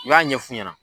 U y'a ɲɛ f'u ɲɛna